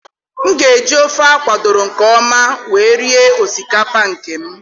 M ga eji ofe a kwadoro nke ọma wee rie osikapa nke m.